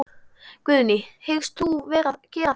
Guðný: Hyggst þú gera það?